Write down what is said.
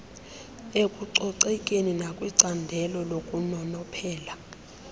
ekucoceni nakwincandelo lokunonophela